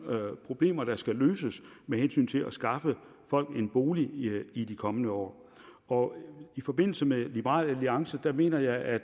problemer der skal løses med hensyn til at skaffe folk en bolig i de kommende år år i forbindelse med liberal alliance mener jeg at